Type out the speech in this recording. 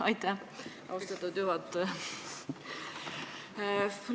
Aitäh, austatud juhataja!